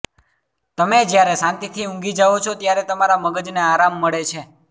તમે જ્યારે શાંતિથી ઊંઘી જાઓ છો ત્યારે તમારા મગજને આરામ મળે છે